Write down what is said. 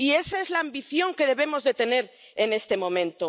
Y esa es la ambición que debemos tener en este momento.